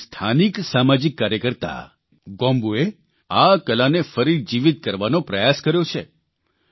હવે એક સ્થાનિક સામાજિક કાર્યકર્તા ગોમ્બૂએ આ કલાને ફરી જીવીત કરવાનો પ્રયાસ કર્યો છે